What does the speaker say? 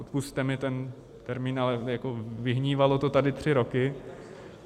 Odpusťte mi ten termín, ale vyhnívalo to tady tři roky.